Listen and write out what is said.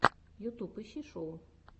ютюб ищи шоу